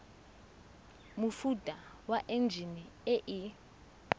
mofuta wa enjine e e